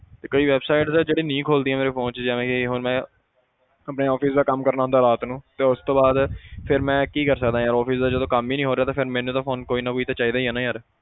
ਤੇ ਕਈ websites ਆ ਜਿਹੜੀ ਨਹੀਂ ਖੁੱਲਦੀਆਂ ਮੇਰੇ phone 'ਚ ਜਿਵੇਂ ਕਿ ਹੁਣ ਮੈਂ ਆਪਣੇ office ਦਾ ਕੰਮ ਕਰਨਾ ਹੁੰਦਾ ਰਾਤ ਨੂੰ ਤੇ ਉਸ ਤੋਂ ਬਾਅਦ ਫਿਰ ਮੈਂ ਕੀ ਕਰ ਸਕਦਾਂ ਯਾਰ office ਦਾ ਜਦੋਂ ਕੰਮ ਹੀ ਨੀ ਹੋ ਰਿਹਾ ਤਾਂ ਫਿਰ ਮੈਨੂੰ ਤਾਂ ਕੋਈ ਨਾ ਕੋਈ ਤਾਂ ਚਾਹੀਦਾ ਹੀ ਨਾ ਯਾਰ।